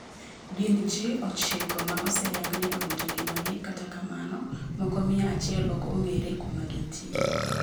gin ji ochiko ma oseyang ni owito ngimagi kata kamano moko mia achiel ok ong'ere kuma gintiere